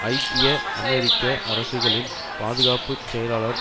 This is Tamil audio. ஐக்கிய அமெரிக்க அரசுகளின் பாதுகாப்பு செயலாளர்